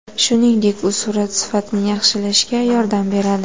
Shuningdek, u surat sifatini yaxshilashga yordam beradi.